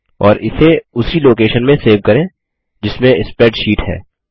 और इसे उसी लोकेशन में सेव करें जिसमें स्प्रैडशीट है